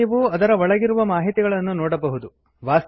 ಈಗ ನೀವು ಅದರ ಒಳಗಿರುವ ಮಾಹಿತಿಗಳನ್ನು ನೋಡಬಹುದು